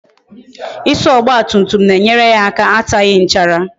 Ịsa ọgba tum tum na-enyere ya aka ataghi nchara